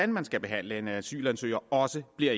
man skal behandle en asylansøger også bliver